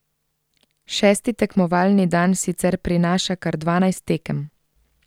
Šesti tekmovalni dan sicer prinaša kar dvanajst tekem.